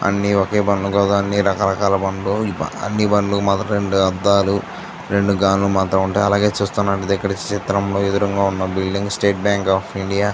అన్ని ఒకే రకం బండ్లు అన్ని రకారకాల బండ్లు అన్ని బండ్లు మొదటి రెండు అద్దాలు రెండు అలాగే చూస్తుంటున్నటు ఐతే ఇక్కడ చిత్రం లో ఎదురుగా ఉన్న building State Bank of India .